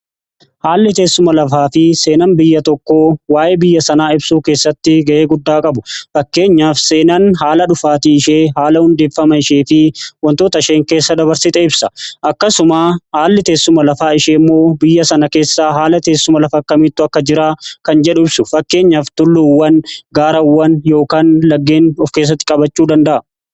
Haalli teessuma lafaa fi seenan biyya tokko waa'ee biyya sanaa ibsuu keessatti ga'ee guddaa qabu. Fakkeenyaaf seenan haala dhufaatii ishee haala hundeeffama ishee fi wantoota isheen keessa dabarsite ibsa. Akkasuma haalli teessuma lafaa ishee immoo biyya sana keessaa haala teessuma lafa akkamitti akka jiran kan jedhu ibsu. Fakkeenyaaf tulluuwwan gaareewwan yookaan laggeen of keessatti qabachuu danda'a.